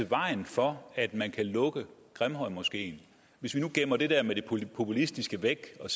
vejen for at man kan lukke grimhøjmoskeen hvis vi nu gemmer det der med det populistiske væk og